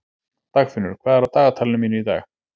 Dagfinnur, hvað er á dagatalinu mínu í dag?